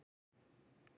Hitt er þó sýnu